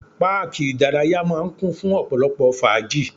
Páàkì ìdárayá máà ń kún fún ọ̀pọ̀lọpọ̀ fàájì.